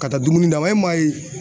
Ka taa dumuni d'a ma e m'a ye